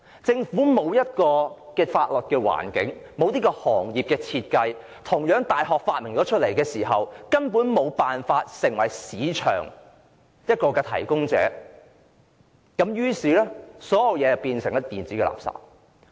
政府沒有制訂法律框架，沒有行業設計，即使有大學研發出來，政府亦根本無法提供市場，於是變成電子垃圾。